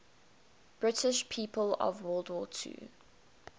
british people of world war ii